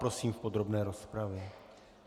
Prosím v podrobné rozpravě.